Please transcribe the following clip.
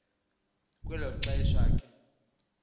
kwelo xesha ke